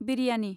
biryani